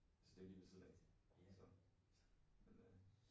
Altså det lige ved siden af så altså men øh